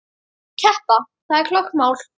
Keppa, það er klárt mál.